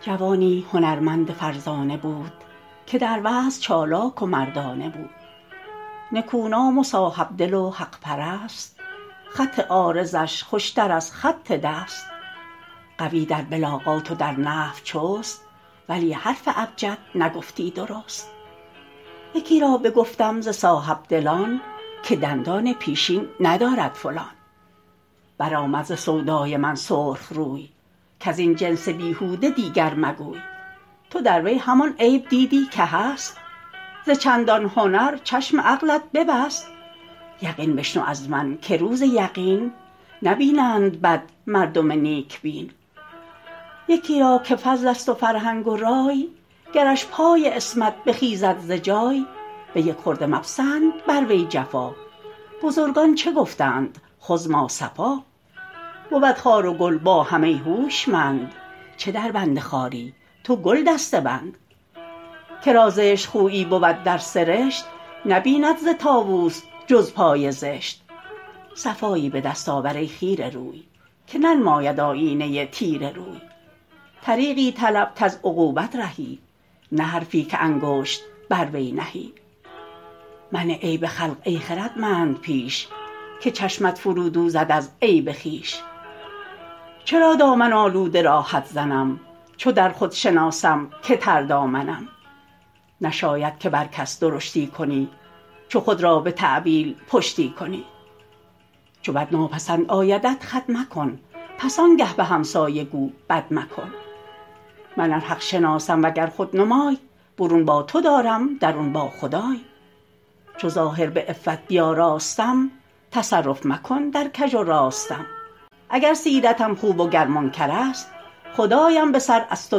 جوانی هنرمند فرزانه بود که در وعظ چالاک و مردانه بود نکونام و صاحبدل و حق پرست خط عارضش خوشتر از خط دست قوی در بلاغات و در نحو چست ولی حرف ابجد نگفتی درست یکی را بگفتم ز صاحبدلان که دندان پیشین ندارد فلان برآمد ز سودای من سرخ روی کز این جنس بیهوده دیگر مگوی تو در وی همان عیب دیدی که هست ز چندان هنر چشم عقلت ببست یقین بشنو از من که روز یقین نبینند بد مردم نیک بین یکی را که فضل است و فرهنگ و رای گرش پای عصمت بخیزد ز جای به یک خرده مپسند بر وی جفا بزرگان چه گفتند خذ ما صفا بود خار و گل با هم ای هوشمند چه در بند خاری تو گل دسته بند که را زشت خویی بود در سرشت نبیند ز طاووس جز پای زشت صفایی به دست آور ای خیره روی که ننماید آیینه تیره روی طریقی طلب کز عقوبت رهی نه حرفی که انگشت بر وی نهی منه عیب خلق ای خردمند پیش که چشمت فرو دوزد از عیب خویش چرا دامن آلوده را حد زنم چو در خود شناسم که تر دامنم نشاید که بر کس درشتی کنی چو خود را به تأویل پشتی کنی چو بد ناپسند آیدت خود مکن پس آنگه به همسایه گو بد مکن من ار حق شناسم وگر خود نمای برون با تو دارم درون با خدای چو ظاهر به عفت بیاراستم تصرف مکن در کژ و راستم اگر سیرتم خوب و گر منکر است خدایم به سر از تو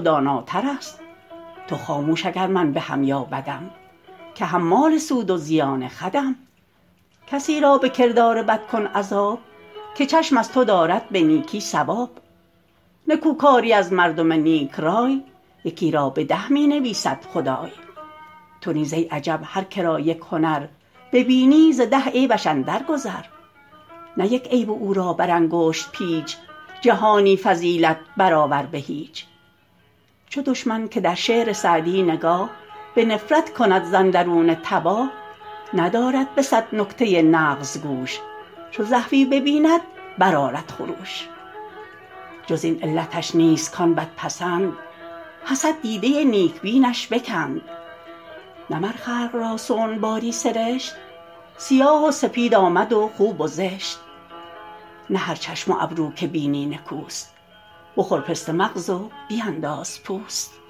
داناتر است تو خاموش اگر من بهم یا بدم که حمال سود و زیان خودم کسی را به کردار بد کن عذاب که چشم از تو دارد به نیکی ثواب نکو کاری از مردم نیک رای یکی را به ده می نویسد خدای تو نیز ای عجب هر که را یک هنر ببینی ز ده عیبش اندر گذر نه یک عیب او را بر انگشت پیچ جهانی فضیلت بر آور به هیچ چو دشمن که در شعر سعدی نگاه به نفرت کند ز اندرون تباه ندارد به صد نکته نغز گوش چو زحفی ببیند بر آرد خروش جز این علتش نیست کان بد پسند حسد دیده نیک بینش بکند نه مر خلق را صنع باری سرشت سیاه و سپید آمد و خوب و زشت نه هر چشم و ابرو که بینی نکوست بخور پسته مغز و بینداز پوست